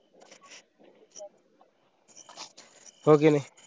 हो की नाई?